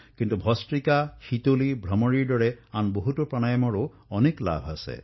কিন্তু ভস্তিকা শীতলী ভ্ৰামৰীৰ দৰে বহু প্ৰাণায়ামৰ প্ৰকাৰ আছে আৰু ইয়াৰ লাভ অনেক